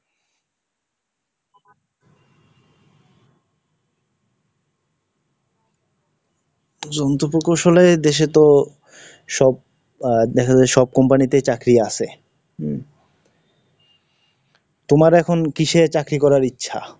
জন্তু প্রকৌশলে দেশে তো সব আহ দেখা যায় সব company তে চাকরি আছে, উম, তোমার এখন কিসে চাকরি করার ইচ্ছা?